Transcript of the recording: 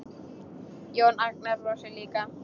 Jón Agnar brosir líka.